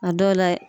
A dɔw la